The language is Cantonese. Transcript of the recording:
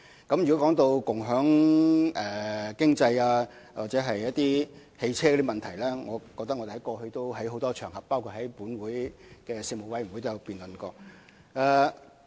關於共享經濟或共享汽車的問題，我們過去已在多個場合，包括立法會的事務委員會會議上進行多次辯論。